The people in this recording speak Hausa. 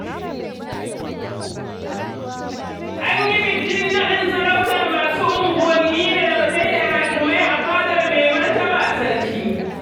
An yi bikin naɗin sarautar masu unguwanni da dagatai da hakimai a fadar Maimartaba Sarki.